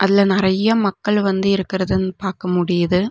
ல நறைய மக்கள் வந்து இருக்கறதன் பாக்க முடியிது.